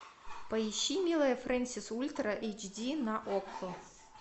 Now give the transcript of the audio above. поищи милая фрэнсис ультра эйч ди на окко